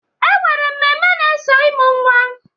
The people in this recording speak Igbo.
E nwere mmemme na-eso ịmụ nnwa.